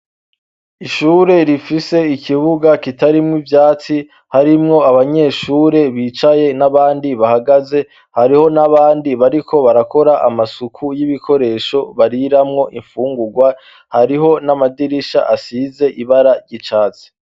Ishure rifise ikibuga kitarimwo ivyatsi harimwo abanyeshure bicaye n'abandi bahagaze hariho n'abandi bariko barakora amasuku y'ibikoresho bariramwo imfungurwa hariho n'amadirisha asize ibara ryicatsi.